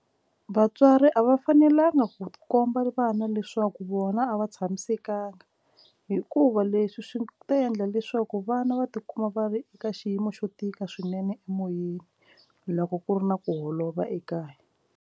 Vatswari a va fanelanga ku tikomba vana leswaku vona a va tshamisekanga hikuva leswi swi ta endla leswaku vana va tikuma va ri eka xiyimo xo tika swinene emoyeni loko ku ri na ku holova ekaya.